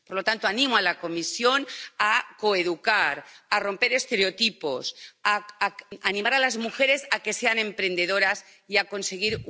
Por lo tanto, animo a la Comisión a coeducar, a romper estereotipos, a animar a las mujeres a que sean emprendedoras y a conseguir un mundo más justo.